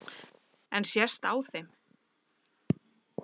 En sést á þeim?